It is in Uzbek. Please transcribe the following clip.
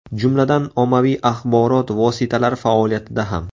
Jumladan, ommaviy axborot vositalari faoliyatida ham.